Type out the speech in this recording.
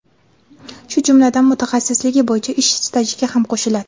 shu jumladan mutaxassisligi bo‘yicha ish stajiga ham qo‘shiladi.